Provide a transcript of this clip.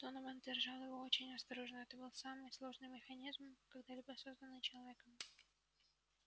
донован держал его очень осторожно это был самый сложный механизм когда-либо созданный человеком